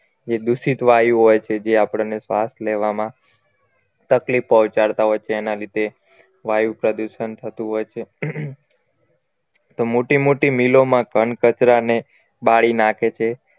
જે દૂષિત વાયુ હોય છે જે આપણને શ્વાસ લેવા માં તકલીફ પહોંચાડતા હોય તેના લીધે વાયુ પ્રદુષણ થતું હોય છે તો મોટી મોટી મિલોમાં ઘન કચરાને બાળી નાખે છે